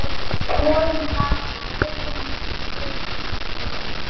Skoðum það í öðrum pistli.